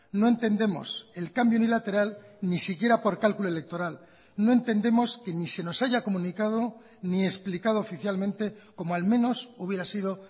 no entendemos el cambio unilateral ni siquiera por cálculo electoral no entendemos que ni se nos haya comunicado ni explicado oficialmente como al menos hubiera sido